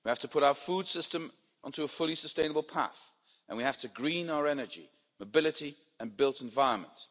We have to put our food system onto a fully sustainable path and we have to green our energy, mobility and built environment.